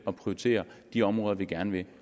at prioritere de områder vi gerne vil